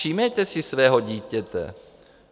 Všímejte si svého dítěte.